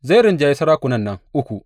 Zai rinjayi sarakunan nan uku.